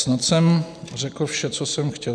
Snad jsem řekl vše, co jsem chtěl.